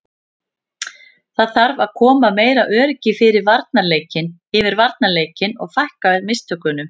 Það þarf að koma meira öryggi yfir varnarleikinn og fækka mistökunum.